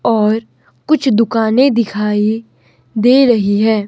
और कुछ दुकानें दिखाई दे रहीं है।